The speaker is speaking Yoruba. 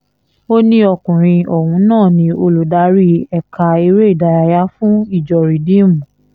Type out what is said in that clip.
ó ní ọkùnrin ọ̀hún náà ni olùdarí ẹ̀ka eré ìdárayá fún ìjọ rìdíìmù